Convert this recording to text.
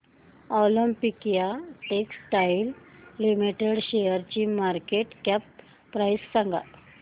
Olympia Textiles Limited शेअरची market cap price सांगा